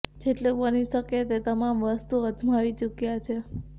જેટલું બની શકે તે તમામ વસ્તુઓ અજમાવી ચૂક્યા છે